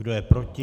Kdo je proti?